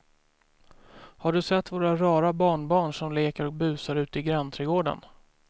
Har du sett våra rara barnbarn som leker och busar ute i grannträdgården!